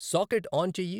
socket on చెయ్యి